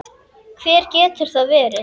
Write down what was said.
Hver getur það verið?